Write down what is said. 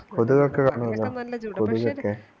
കൊതുകോക്കെ കാണുവല്ലോ കൊതുകോക്കെ